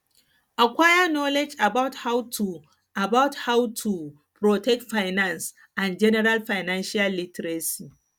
acquire knowledge about how to about how to protect finance and general financial literacy